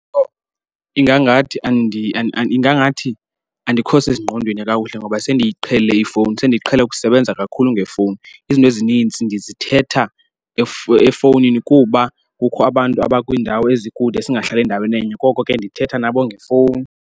Ingangathi ingangathi andikho sezingqondweni kakuhle ngoba sendiyiqhelile ifowuni sendiqhele ukusebenza kakhulu ngefowuni. Izinto ezininzi ndizithetha efowunini kuba kukho abantu abakwiindawo ezikude singahlali ndaweni enye koko ke ndithetha nabo ngefowuni.